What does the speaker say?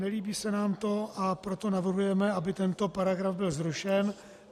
Nelíbí se nám to, a proto navrhujeme, aby tento paragraf byl zrušen.